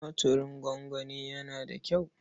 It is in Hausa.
Tumatirin gongoni yana da kyau.